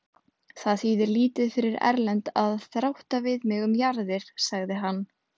Það þýðir lítið fyrir Erlend að þrátta við mig um jarðir, sagði hann.